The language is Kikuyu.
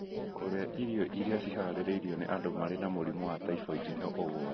Kũrĩa irio iria ciharĩrĩirio nĩ andũ marĩ na mũrimũ wa typhoid nĩ ũgwati.